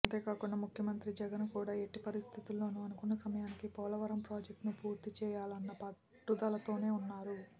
అంతేకాకుండా ముఖ్యమంత్రి జగన్ కూడా ఎట్టి పరిస్థితుల్లోనూ అనుకున్న సమయానికి పోలవరం ప్రాజెక్టును పూర్తిచేయాలన్న పట్టుదలతో వున్నారు